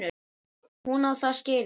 Hún á það skilið.